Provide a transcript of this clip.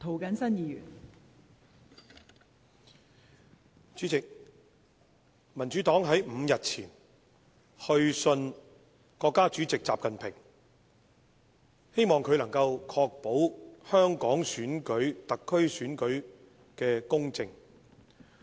代理主席，民主黨5天前曾去信國家主席習近平，希望他能夠確保香港特區特首選舉公正。